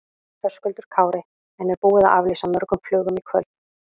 Höskuldur Kári: En er búið að aflýsa mörgum flugum í kvöld?